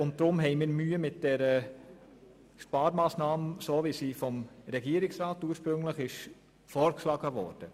Deshalb haben wir Mühe mit der Sparmassnahme, wie sie ursprünglich vom Regierungsrat vorgeschlagen wurde.